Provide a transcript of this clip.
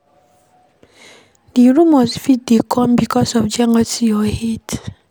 Di rumours fit dey come becuase of jealousy or hate